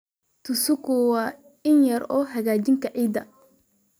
Tsuku waa in yar oo hagaajinta ciidda.